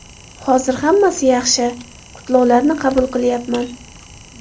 Hozir hammasi yaxshi, qutlovlarni qabul qilyapman.